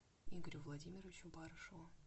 игорю владимировичу барышеву